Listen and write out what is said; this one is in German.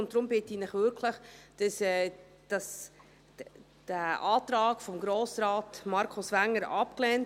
Deshalb bitte ich Sie wirklich, den Antrag von Grossrat Wenger abzulehnen.